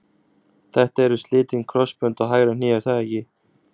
Þetta eru slitin krossbönd á hægra hné er það ekki?